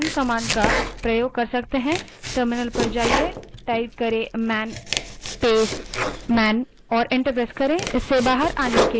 terminal पर जाएँ और man space man type करें और enter दबायें